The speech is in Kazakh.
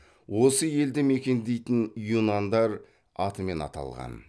осы елді мекендейтін юнандар атымен аталған